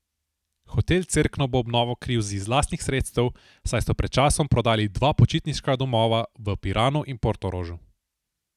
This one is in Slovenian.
Hotel Cerkno bo obnovo kril iz lastnih sredstev, saj so pred časom prodali dva počitniška domova, v Piranu in Portorožu.